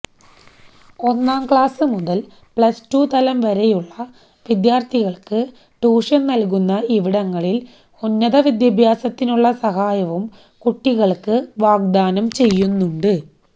ഒന്നാം ക്ലാസുമുതല് പ്ലസ്ടു തലം വരെയുള്ള വിദ്യാര്ത്ഥികള്ക്ക് ട്യൂഷന് നല്കുന്ന ഇവിടങ്ങളില് ഉന്നത വിദ്യാഭ്യാസത്തിനുള്ള സഹായവും കുട്ടികള്ക്ക് വാഗ്ദാനം ചെയ്യുന്നുണ്ട്